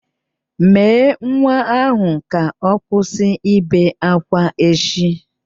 Mèé nwa ahụ ka ọ kwụsị ibe ákwá echi!